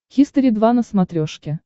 хистори два на смотрешке